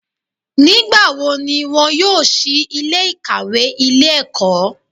Nígbàwo ni wọn yóò sí Ilé ìkàwé Ilé ẹ̀kọ́?